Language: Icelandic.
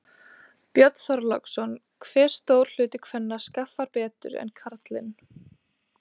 Björn Þorláksson: Hve stór hluti kvenna skaffar betur en karlinn?